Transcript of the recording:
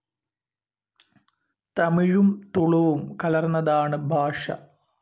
തമിഴും തുളുവും കലർന്നതാണ് ഭാഷ.